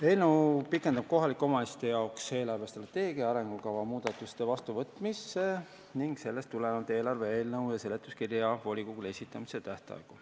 Eelnõu pikendab kohalike omavalitsuste eelarvestrateegia ja arengukava muudatuste vastuvõtmise ning sellest tulenevalt ka eelarve eelnõu ja seletuskirja volikogule esitamise tähtaegu.